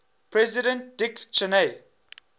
president dick cheney